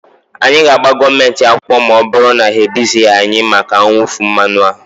anyị ga-agba gọọmenti akwụkwọ ma ọ bụrụ na ha ebizighị anyị maka mwụfu mmanụ a